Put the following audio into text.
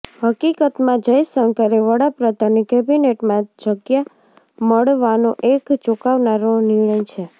હકીકતમાં જયશંકરે વડાપ્રધાનની કેબિનેટમાં જગ્યા મળવાનો એક ચોંકાવનારો નિર્ણય છે